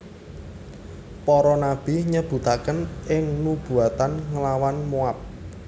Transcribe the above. Para nabi nyebutaken ing nubuatan nglawan Moab